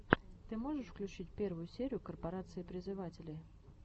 ты можешь включить первую серию корпорации призывателей